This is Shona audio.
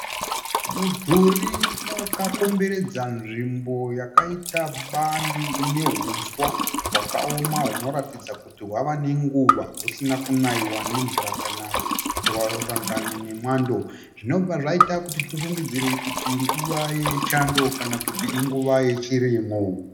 Mudhuri wakakomberedza nzvimbo yakaita bani ine huswa hwakaoma hunoratidza kuti hwava nenguva husina kunaiwa nemvura kana kusangana nemwando zvinobva zvaita kuti tifungidzire kuti inguva yechando kana kuti inguva yechirimo.